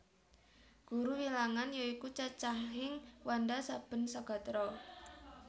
Guru Wilangan ya iku cacahing wanda saben sagatra